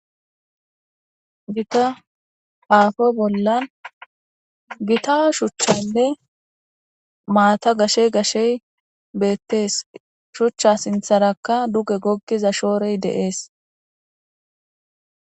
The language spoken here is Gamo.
Gita aapo bolla gita shuchchaynne maata gashe gashe beetees. Shuchcha sinththarakka dugge goggiza shoore de7ees.